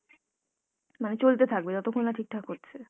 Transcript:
মানে চলতে থাকবে যতক্ষণ না ঠিকঠাক হচ্ছে।